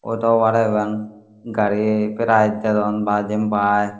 ado bare bang gari price dedon ba jenpai.